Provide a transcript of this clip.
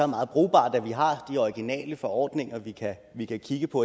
meget brugbart at vi har de regionale forordninger vi kan kigge på